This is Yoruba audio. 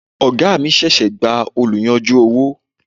Oga mi ṣẹ̀ṣẹ̀ gba oluyanju owó.